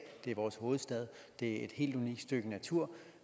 det er vores hovedstad det er et helt unikt stykke natur